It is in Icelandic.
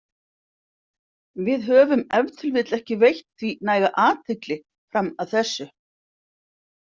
Við höfum ef til vill ekki veitt því næga athygli fram að þessu.